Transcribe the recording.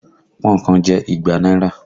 Pọ́n-ọ̀n kan jẹ́ igba náírà